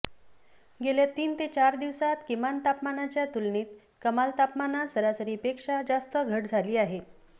गेल्या तीन ते चार दिवसांत किमान तापमानाच्या तुलनेत कमाल तापमानात सरासरीपेक्षा जास्त घट झाली आहे